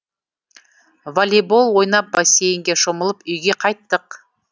волейбол ойнап бассейнге шомылып үйге қайттық